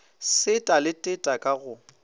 seta le teta ka go